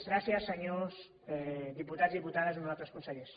gràcies senyors diputats diputades honorables consellers